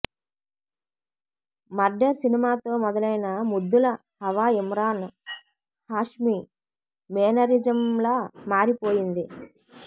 murder సినిమాతో మొదలైన ముద్దుల హవా ఇమ్రాన్ హాష్మి మేనరిజంలా మారిపోయింది